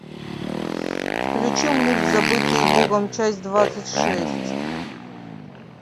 включи мульт забытые богом часть двадцать шесть